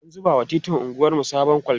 an zuba wa titin anguwarmu sabon kolta